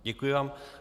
Děkuji vám.